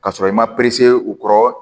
Ka sɔrɔ i ma u kɔrɔ